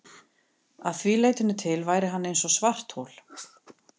Að því leytinu til væri hann eins og svarthol.